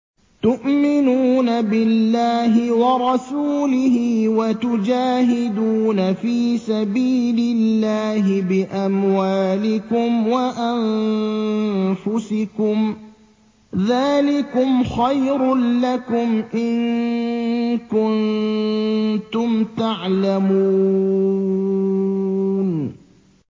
تُؤْمِنُونَ بِاللَّهِ وَرَسُولِهِ وَتُجَاهِدُونَ فِي سَبِيلِ اللَّهِ بِأَمْوَالِكُمْ وَأَنفُسِكُمْ ۚ ذَٰلِكُمْ خَيْرٌ لَّكُمْ إِن كُنتُمْ تَعْلَمُونَ